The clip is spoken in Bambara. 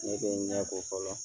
Ne bɛ n ɲɛ ko fɔlɔ